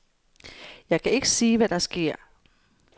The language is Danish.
Jeg kan ikke sige, hvad der sker.